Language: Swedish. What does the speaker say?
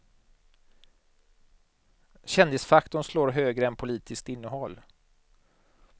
Kändisfaktorn slår högre än politiskt innehåll.